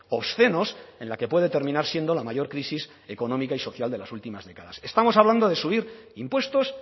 obscenos en la que puede terminar siendo la mayor crisis económica y social de las últimas décadas estamos hablando de subir impuestos